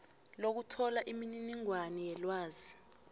lokuthola imininingwana yelwazi